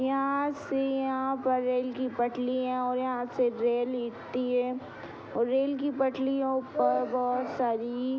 यहाँ से यहाँ पर रेल की पटलिया और यहाँ से रेल एती है और रेल की पटलिया ऊपर बहुत सारी --